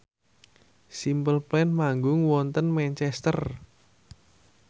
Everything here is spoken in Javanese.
Simple Plan manggung wonten Manchester